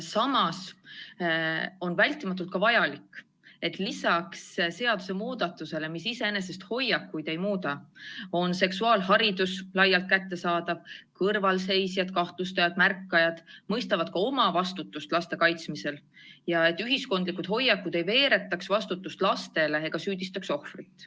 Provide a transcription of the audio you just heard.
Samas on vältimatult vajalik, et lisaks seadusemuudatusele, mis iseenesest hoiakuid ei muuda, oleks seksuaalharidus laialt kättesaadav, kõrvalseisjad, kahtlustajad ja märkajad mõistaksid oma vastutust laste kaitsmisel ning ühiskondlikud hoiakud ei veeretaks vastutust lastele ega süüdistaks ohvrit.